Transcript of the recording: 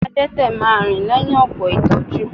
Adẹ́tẹ̀ máa rìn lẹ́yìn ọ̀pọ̀ ìtọ́jú